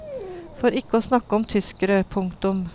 For ikke å snakke om tyskere. punktum